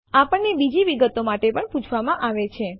આપણને બીજી વિગતો માટે પણ પૂછવામાં આવશે